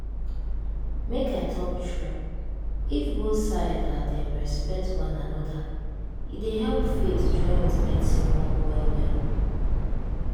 make i talk true if both side ah dem respect one anoda e dey help faith join with medicine work well well.